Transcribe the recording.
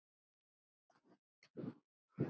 Nú er hörgull á